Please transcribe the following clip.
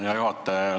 Hea juhataja!